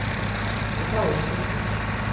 en þá er spurningin